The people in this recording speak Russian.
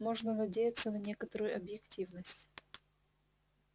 можно надеяться на некоторую объективность